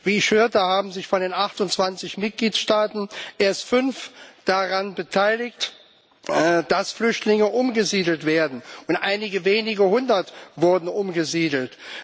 Wie ich hörte, haben sich von den 28 Mitgliedstaaten erst fünf daran beteiligt, dass Flüchtlinge umgesiedelt werden, und einige wenige Hundert wurden umgesiedelt.